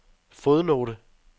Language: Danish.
fodnote